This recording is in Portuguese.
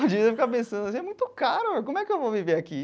Eu ficava pensando assim, é muito caro, como é que eu vou viver aqui?